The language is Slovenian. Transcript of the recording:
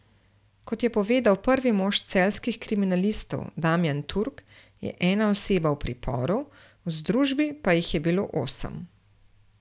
Kot je povedal prvi mož celjskih kriminalistov Damijan Turk, je ena oseba v priporu, v združbi pa jih je bilo osem.